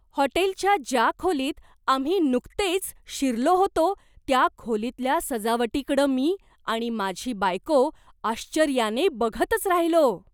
हॉटेलच्या ज्या खोलीत आम्ही नुकतेच शिरलो होतो त्या खोलीतल्या सजावटीकडं मी आणि माझी बायको आश्चर्याने बघतच राहिलो.